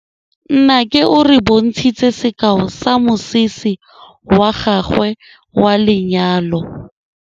Nnake o re bontshitse sekaô sa mosese wa gagwe wa lenyalo.